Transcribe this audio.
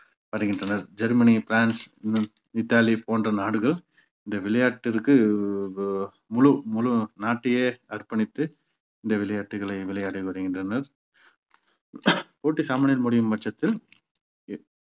வருகின்றனர் Germany France இன்னும் Italy போன்ற நாடுகள் இந்த விளையாட்டிற்கு ப~ முழு முழு நாட்டையே அர்ப்பணித்து இந்த விளையாட்டுகளை விளையாடி வருகின்றனர் போட்டி சமநிலையில் முடியும் பட்சத்தில்